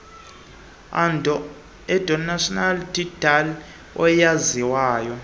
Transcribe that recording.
adonsonia digitata eyaziwayo